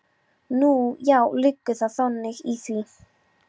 Nú, já, liggur þá þannig í því.